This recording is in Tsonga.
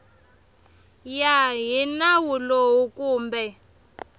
ya hi nawu lowu kumbe